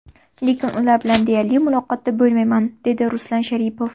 Lekin ular bilan deyarli muloqotda bo‘lmayman”, dedi Ruslan Sharipov.